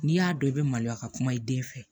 N'i y'a dɔn i bɛ maloya ka kuma i den fɛ